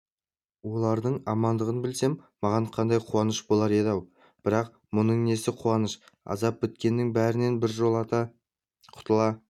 олардың амандығын білсем маған қандай қуаныш болар еді-ау бірақ мұның несі қуаныш азап біткеннің бәрінен біржолата құтыла